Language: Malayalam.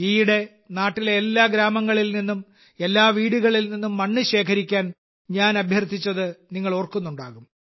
ഈയിടെ നാട്ടിലെ എല്ലാ ഗ്രാമങ്ങളിൽ നിന്നും എല്ലാ വീടുകളിൽ നിന്നും മണ്ണ് ശേഖരിക്കാൻ ഞാൻ അഭ്യർത്ഥിച്ചത് നിങ്ങൾ ഓർക്കുന്നുണ്ടാകും